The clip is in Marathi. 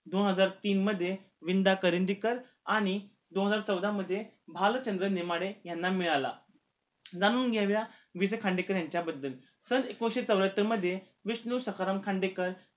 दोन हजार तीन मध्ये वि. दा. करंदीकर आणि दोन हजार चौदा भालचंद्र नेमाडे यांना मिळाला जाणून घेऊया वि. स. खांडेकर यांच्याबद्दल सन एकोणीशे चौऱ्यातर मध्ये विष्णू सखाराम खांडेकर